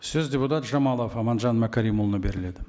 сөз депутат жамалов аманжан мәкәрімұлына беріледі